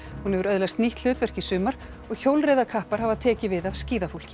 hún hefur öðlast nýtt hlutverk í sumar og hjólreiðakappar hafa tekið við af skíðafólki